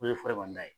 O de ye ye